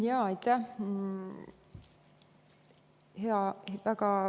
Jaa, aitäh!